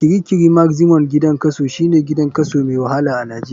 Kirikiri maximum gidan kaso, shine gidan kaso mai wahala a nijeria.